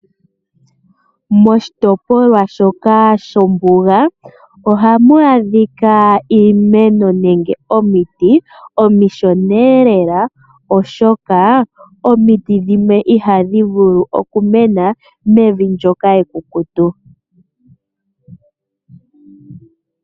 Moshitopolwa shoka shombuga, ohamu adhika iimeno nenge omiti omishona lela oshoka omiti dhimwe ihadhi vulu oku mena mevi ndyoka ekukutu.